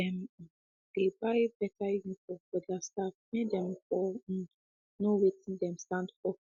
dem um dey buy better uniform for their staffs make them for um know watin them stand for